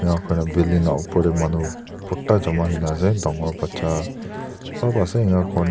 enya khorna building la opor te manu bhorta jama hoina ase dangor bacha sop ase enya khorna--